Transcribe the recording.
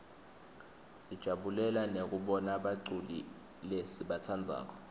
sijabulela nekubona baculi lesibatsandzako